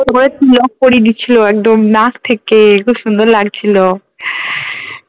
তারপরে তিলক পরিয়ে দিছিলো একদম নাক থেকে খুব সুন্দর লাগছিলো